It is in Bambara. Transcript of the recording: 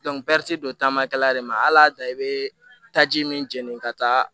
ti don taama kɛla de ma al'a da i be taa ji min jeninen ka taa